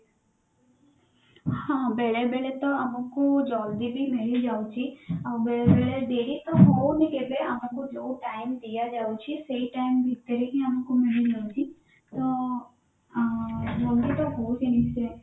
ହଁ ବେଳେବେଳେ ତ ଆମକୁ ଜଲଦି ବି ମିଳିଯାଉଛି ଆଉ ବେଳବେଳେ ଡେରି ତ ହଉନି କେବେ ଆମକୁ ଯୋଉ time ଦିଆ ଯାଉଛି ସେଇ time ଭିତରେ ହିଁ ଆମକୁ ମିଳିଯାଉଛି ତ